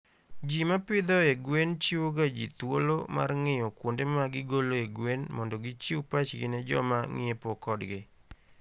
Ji ma pidhoe gwen chiwoga ji thuolo mar ng'iyo kuonde ma gigoloe gwen mondo gichiw pachgi ne joma ng'iepo kodgi.